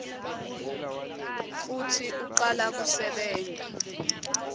futsi ucala kusebenta